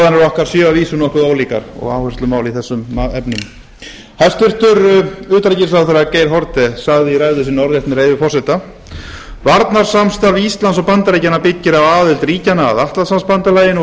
okkar séu að vísu nokkuð ólíkar og áherslumál í þessum efnum hæstvirts utanríkisráðherra geir haarde gangi í ræðu sinni orðrétt með leyfi forseta varnarsamstarf íslands og bandaríkjanna byggir á aðild ríkjanna að atlantshafsbandalaginu og